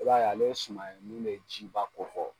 I b'a ye ale ye suma ye min bɛ ji ba ko kɔ.